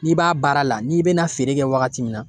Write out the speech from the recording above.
N'i b'a baara la n'i bɛna feere kɛ wagati min na